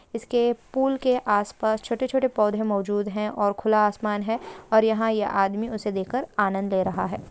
इसके पुल के आस पास छोटे-छोटे पौधे मौजूद हैं और खुला आसमान है और यहाँ ये आदमी उसे देखकर आनंद ले रहा है।